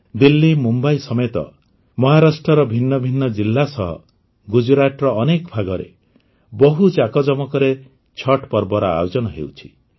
ଦିଲ୍ଲୀ ମୁମ୍ବାଇ ସମେତ ମହାରାଷ୍ଟ୍ରର ଭିନ୍ନ ଭିନ୍ନ ଜିଲା ସହ ଗୁଜରାଟର ଅନେକ ଭାଗରେ ବହୁ ଜାକଜମକରେ ଛଠ୍ ପର୍ବର ଆୟୋଜନ ହେଉଛି